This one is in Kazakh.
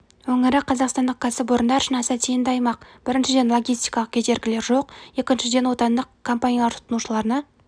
өңірі қазақстандық кәсіпорындар үшін аса тиімді аймақ біріншіден логистикалық кедергілер жоқ екіншіден отандық компаниялар тұтынушыларына